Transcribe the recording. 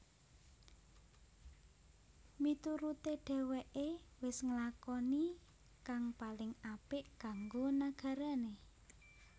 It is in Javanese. Miturute dheweke wis nglakoni kang paling apik kanggo nagarane